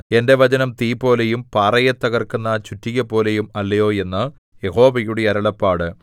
എന്റെ വചനം തീപോലെയും പാറയെ തകർക്കുന്ന ചുറ്റികപോലെയും അല്ലയോ എന്ന് യഹോവയുടെ അരുളപ്പാട്